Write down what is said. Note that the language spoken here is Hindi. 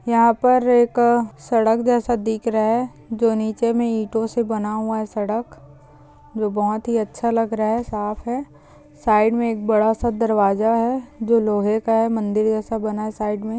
यहाँ पर एक सड़क जैसा दिख रहा है जो नीचे मे ईटों से बना हुआ है सड़क जो बहुत ही अच्छा लग रहा है साफ़ है साइड मे एक बडासा दरवाजा है जो लोहे का है मंदिर जैसा बना हैं साइड मे।